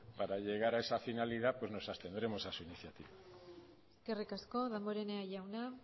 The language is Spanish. para llegar a esa finalidad pues nos abstendremos a su moción eskerrik asko damborenea jauna